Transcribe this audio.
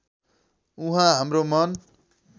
उहाँ हाम्रो मन